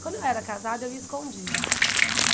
Quando eu era casada, eu ia escondido.